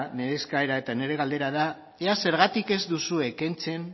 nire eskaera eta nire galdera da ea zergatik ez duzue kentzen